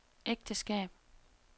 ægteskab